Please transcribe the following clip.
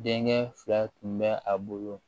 Denkɛ fila tun bɛ a bolo